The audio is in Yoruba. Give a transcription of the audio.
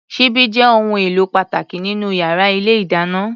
Ṣíbí jẹ́ ohun èlò pàtàkì nínú yàrá ilé-ìdáná.